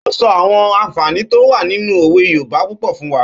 Ó sọ àwọn ànfààní tó wà nínu òwe yoòbá púpọ̀ fún wa